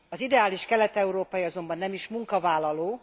Az ideális kelet európai azonban nem is munkavállaló.